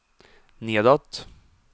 nedåt